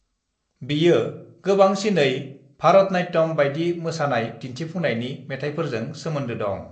बियो गोबांसिनै भरतनाट्यम बायदि मोसानाय दिन्थिफुंनायनि मेथायफोरजों सोमोनदो दं।